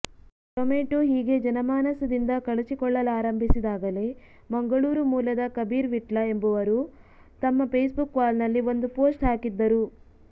tomato ಹೀಗೆ ಜನಮಾನಸದಿಂದ ಕಳಚಿಕೊಳ್ಳಲಾರಂಭಿಸಿದಾಗಲೇ ಮಂಗಳೂರು ಮೂಲದ ಕಬೀರ್ ವಿಟ್ಲ ಎಂಬವರು ತಮ್ಮ ಫೇಸ್ಬುಕ್ ವಾಲ್ನಲ್ಲಿ ಒಂದು ಪೋಸ್ಟ್ ಹಾಕಿದ್ದರು